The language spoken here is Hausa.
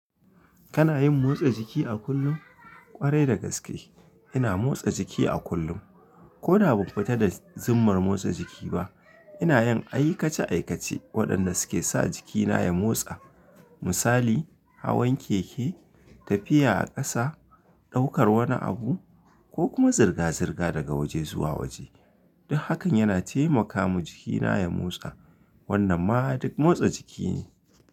Kana yin motsa jiki a kullum? Kwarai da gaske ina motsa jiki a kullum. Ko da ba a tabbata da zumar motsa jiki ba, ina yin aikace aikace waɗanda suke sa jikina ya motsa. Misali: hawan keke, tafiya a ƙasa, ɗaukar wani abu ko kuma zirga-zirga daga waje zuwa waje. Duk hakan yana taimaka wa jikina ya motsa. Wannan ma duk motsa jiki ne.